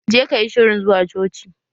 Je kayi shirin zuwa coci!